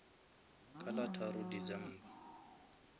ka la tharo december